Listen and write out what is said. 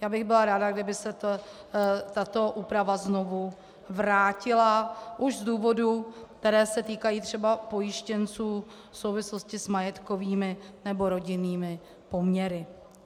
Já bych byla ráda, kdyby se tato úprava znovu vrátila, už z důvodů, které se týkají třeba pojištěnců v souvislosti s majetkovými nebo rodinnými poměry.